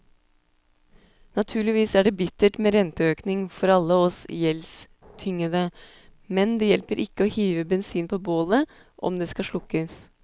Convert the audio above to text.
Naturligvis er det bittert med renteøkning for alle oss gjeldstyngede, men det hjelper ikke å hive bensin på bålet om det skal slukkes.